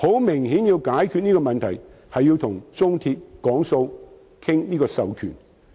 明顯地，想解決手續費問題，便要與中鐵談判，商討授權。